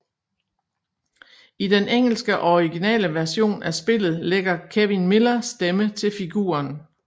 I den engelske og originale version af spillet lægger Kevin Miller stemme til figuren